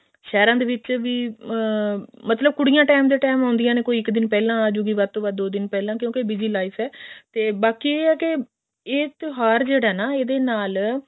ਸਹਿਰਾਂ ਵਿੱਚ ਵੀ ਅਮ ਮਤਲਬ ਕੁੜੀਆਂ time ਦੇ time ਆਉਂਦੀਆਂ ਨੇ ਕੋਈ ਇੱਕ ਦਿਨ ਪਹਿਲਾਂ ਆਜੁਗੀ ਵੱਧ ਤੋਂ ਵੱਧ ਦੋ ਦਿਨ ਪਹਿਲਾਂ ਕਿਉਂਕੇ busy life ਹੈ ਤੇ ਬਾਕੀ ਇਹ ਹੈ ਕੇ ਇਹ ਕੇ ਇਹ ਤਿਉਹਾਰ ਜਿਹੜਾ ਹੈ ਨਾ ਇਹਦੇ ਨਾਲ